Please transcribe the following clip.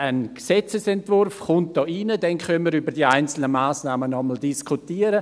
Ein Gesetzesentwurf wird hier eingebracht, dann können wir nochmals über die einzelnen Massnahmen diskutieren.